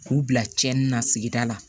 K'u bila tiɲɛni na sigida la